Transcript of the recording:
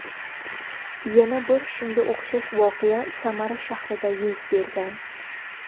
Yana bir shunga o‘xshash voqea Samara shahrida yuz bergan.